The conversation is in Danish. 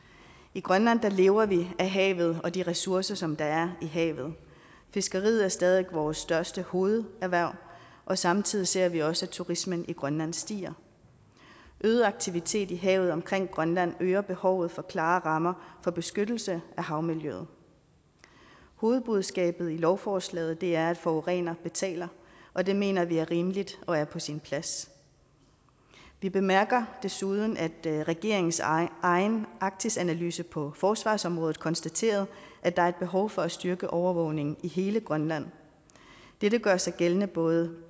i grønland lever vi af havet og de ressourcer som der er i havet fiskeriet er stadig væk vores største hovederhverv og samtidig ser vi også at turismen i grønland siger en øget aktivitet i havet omkring grønland øger behovet for klare rammer for beskyttelse af havmiljøet hovedbudskabet i lovforslaget er at forureneren betaler og det mener vi er rimeligt og er på sin plads vi bemærker desuden at regeringens egen egen arktisanalyse på forsvarsområdet konstaterede at der er et behov for at styrke overvågningen i hele grønland dette gør sig gældende både